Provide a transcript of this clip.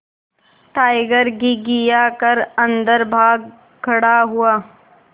tiger घिघिया कर अन्दर भाग खड़ा हुआ